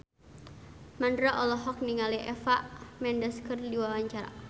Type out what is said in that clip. Mandra olohok ningali Eva Mendes keur diwawancara